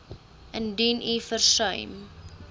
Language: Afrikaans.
indien u versuim